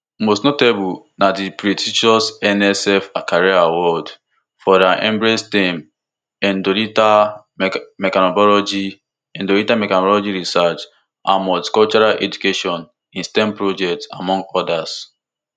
most notably na di prestigious nsf career award for her embrace stem endothelial mechanobiology endothelial mechanobiology research and multicultural education in stem project among odas